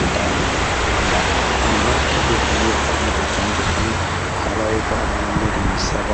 ጌጣጌጥ ጌጣጌጥአምባር ከጌጣጌጥ አይነቶች መካከል አንዱ ሲሆን ባህላዊ በሆኑ መንገዶች የሚሠራ